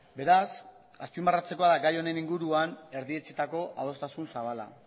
beraz azpimarratzekoa da gai honen inguruan erdietsitako adostasun zabala